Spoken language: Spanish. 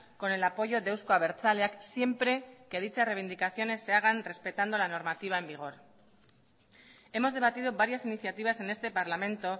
con el apoyo de euzko abertzaleak siempre que dichas reivindicaciones se hagan respetando la normativa en vigor hemos debatido varias iniciativas en este parlamento